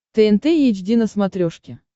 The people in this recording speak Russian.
тнт эйч ди на смотрешке